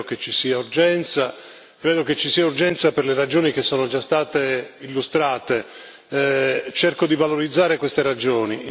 Credo che ci sia urgenza, credo che ci sia urgenza per le ragioni che sono già state illustrate. Cerco di valorizzare queste ragioni.